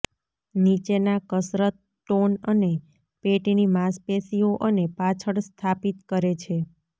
નીચેના કસરત ટોન અને પેટની માંસપેશીઓ અને પાછળ સ્થાપિત કરે છે